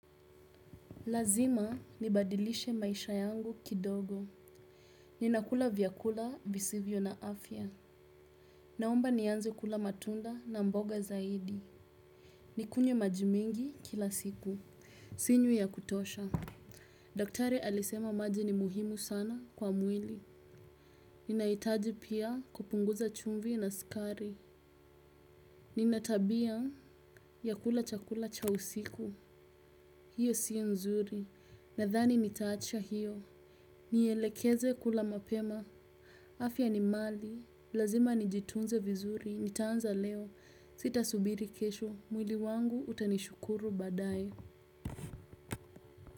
Lazima nibadilishe maisha yangu kidogo. Ninakula vyakula visivyo na afya. Naomba nianze kula matunda na mboga zaidi. Nikunywe maji mengi kila siku. Sinywi ya kutosha. Daktari alisema maji ni muhimu sana kwa mwili. Ninahitaji pia kupunguza chumvi na sukari. Nina tabia ya kula chakula cha usiku. Hiyo si nzuri. Nadhani nitaacha hiyo. Nielekeze kula mapema, afya ni mali, lazima nijitunze vizuri, nitaanza leo, sitasubiri kesho, mwili wangu utanishukuru baadae.